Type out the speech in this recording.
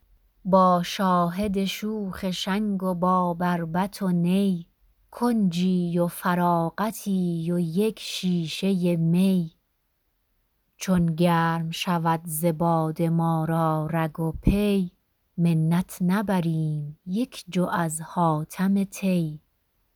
با شاهد شوخ شنگ و با بربط و نی کنجی و فراغتی و یک شیشه می چون گرم شود ز باده ما را رگ و پی منت نبریم یک جو از حاتم طی